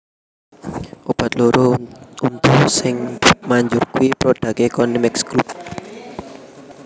Obat loro untu sing manjur kui prodake Konimex Group